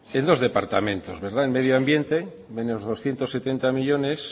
en dos departamentos verdad en medioambiente menos doscientos setenta millónes